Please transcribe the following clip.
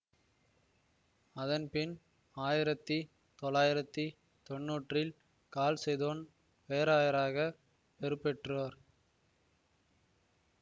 அதன்பின் ஆயிரத்தி தொளாயிரத்தி தொண்ணுற்றில் கால்செதோன் பேராயராக பொறுப்பேற்றார்